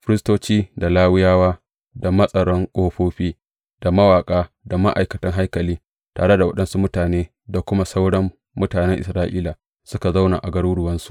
Firistoci, da Lawiyawa, da matsaran ƙofofi, da mawaƙa, da ma’aikatan haikali tare da waɗansu mutane da kuma sauran mutanen Isra’ila, suka zauna a garuruwansu.